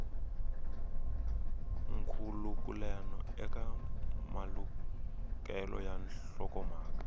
nkhulukelano eka malukelo ya nhlokomhaka